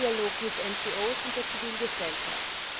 ständiger Dialog mit NGOs und der Zivilgesellschaft.